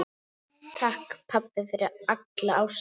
Takk, pabbi, fyrir alla ástina.